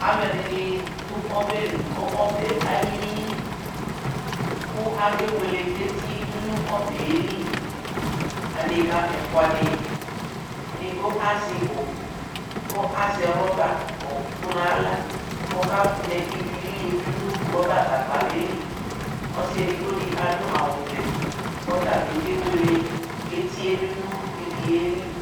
Alʋ ɛdɩnɩ dʋ ɔbɛ li, kʋ ɔbɛ alili, kʋ akewele eti dʋ nʋ ɔbɛ yɛ li, adekǝ ɛfʋa dɩ, edigbo azɛ ɩbɔ kʋ azɛ rɔbaɔkʋ nʋ aɣla kʋ ɔkadɛ ivi lili yɛ dʋ nʋ rɔbagagba yɛ li, ɔsɩ edigbo dɩ adʋ awʋvɛ kʋ ɔta bɩ kewele eti yɛ dʋ nʋ ivi yɛ li